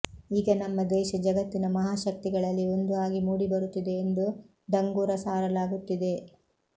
ಈಗ ನಮ್ಮ ದೇಶ ಜಗತ್ತಿನ ಮಹಾಶಕ್ತಿಗಳಲ್ಲಿ ಒಂದು ಆಗಿ ಮೂಡಿ ಬರುತ್ತಿದೆ ಎಂದು ಡಂಗೂರ ಸಾರಲಾಗುತ್ತಿದೆ